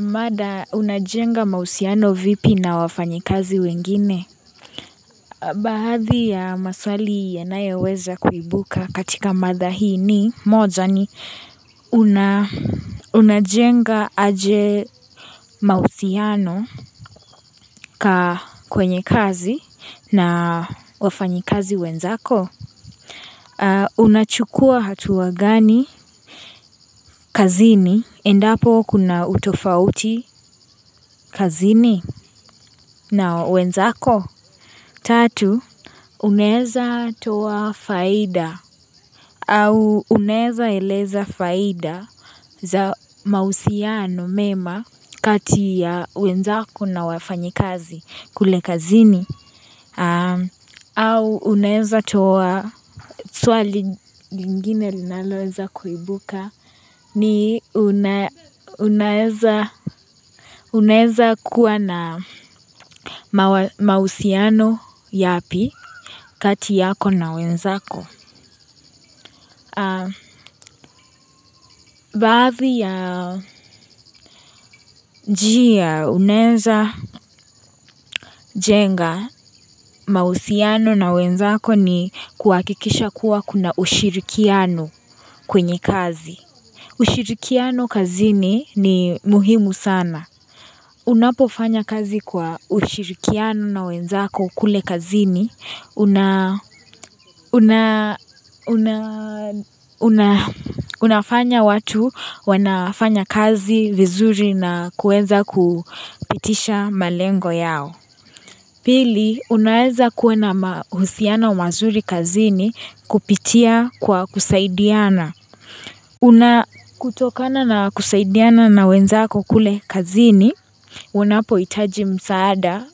Mada, unajenga mausiano vipi na wafanyikazi wengine? Baaadhi ya maswali yanaya weza kuibuka katika mada hii ni moja ni una unajenga aje mausiano ka kwenye kazi na wafanyikazi wenzako. Unachukua hatuwa gani kazini? Endapo kuna utofauti kazini? Na wenzako tatu unaeza toa faida au unaeza eleza faida za mahusiano mema kati ya wenzako na wafanyikazi kule kazini. Au unaeza toa swali lingine linaloenza kuibuka ni una unaeza kuwa na mausiano yapi kati yako na wenzako. Baadhi ya njia uneza jenga mausiano na wenzako ni kuwakikisha kuwa kuna ushirikiano kwenye kazi. Ushirikiano kazini ni muhimu sana. Unapofanya kazi kwa ushirikiano na wenzako kule kazini kunaa. Unafanya watu, wanafanya kazi vizuri na kuenza kupitisha malengo yao. Pili, unaeza kuwa na mahusiana mazuri kazini kupitia kwa kusaidiana. Una kutokana na kusaidiana na wenzako kule kazini, unapo hitaji msaada,